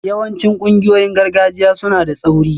Yawancin ƙungiyoyin gargajiya suna da tsauri